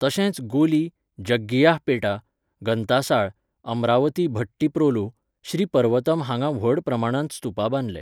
तशेंच गोली, जग्गियाहपेटा, गंतासाळ, अमरावती भट्टीप्रोलू, श्री पर्वतम हांगा व्हड प्रमाणांत स्तूपा बांदले.